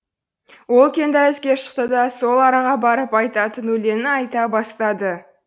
ол үлкен дәлізге шықты да сол араға барып айтатын өлеңін айта бастады